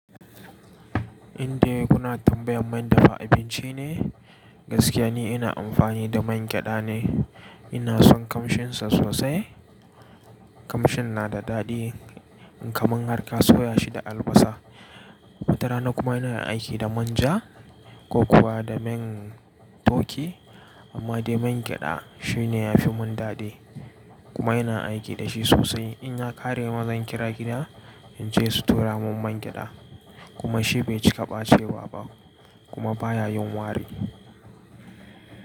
Indai kuna tambayan man dafa abinci ne? Gaskiya ne ina amfani da man gyada ne. Ina son kamshinsa sosai. Kamshin na da daɗi in ka mun harka soya shi da albasa. Wata rana kuma inayin aiki da manja ko kuwa da man toki amma dai man gyada shi ne ya fi mun daɗi kuma ina aiki da shi sosai. In na ƙare ma zan kira gida in ce su tura mun man gyada kuma shi bai cika ɓacewa ba kuma baya yin wari.